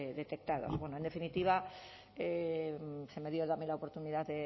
detectados bueno en definitiva se me dio también la oportunidad